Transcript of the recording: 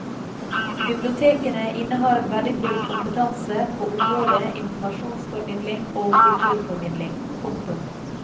Bibliotekene innehar verdifull kompetanse på området informasjonsformidling og kulturformidling. punktum